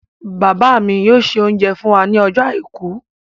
Bàbá mi yóò se oúnjẹ fún wa ní ọjọ́ àìkú.